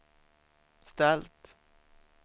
ställt